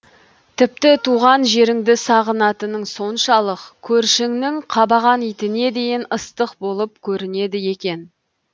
тіпті туған жерінді сағынатынын соншалық көршіңнің қабаған итіне дейін ыстық болып көрінеді екен